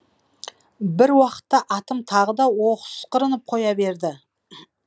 бір уақытта атым тағы да осқырынып қоя берді